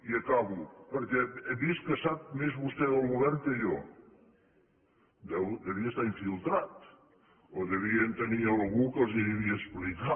i acabo perquè he vist que sap més vostè del govern que jo devia estar infiltrat o devien tenir algú que els ho devia explicar